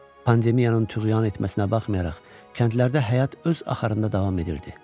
Pandemiyanın tuğyan etməsinə baxmayaraq, kəndlərdə həyat öz axarında davam edirdi.